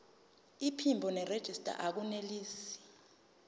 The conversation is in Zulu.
iphimbo nerejista akunelisi